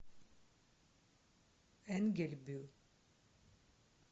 энгельбю